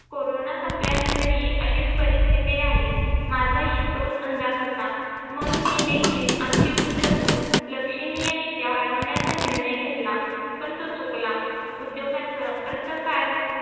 Corona संपल्यानंतरही अशीच परिस्तिथी राहील माझा हि तोच अंदाज होता. म्हणून मी देखील आमची गुंतवणूक लक्षणीयरित्या अडवण्याचा निर्णय घेतला पण तोच चुकला. उद्योगाचं अर्थकार